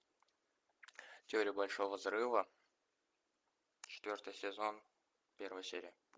теория большого взрыва четвертый сезон первая серия